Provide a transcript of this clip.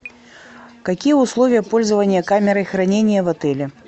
какие условия пользования камерой хранения в отеле